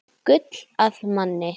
Gull að manni.